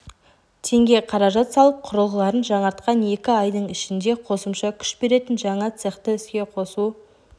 теңге қаражат салып құрылғыларын жаңартқан екі айдың ішінде қосымша күш беретін жаңа цехты іске қосу